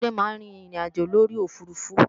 Tade máa ń rin ìrìnàjò lórí òfurufú